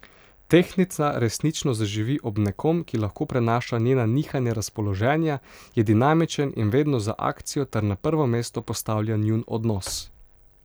Tehtnica resnično zaživi ob nekom, ki lahko prenaša njena nihanja razpoloženja, je dinamičen in vedno za akcijo ter na prvo mesto postavlja njun odnos.